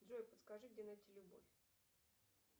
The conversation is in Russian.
джой подскажи где найти любовь